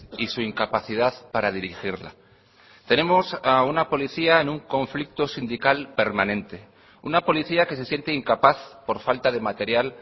y su incapacidad para dirigirla tenemos a una policía en un conflicto sindical permanente una policía que se siente incapaz por falta de material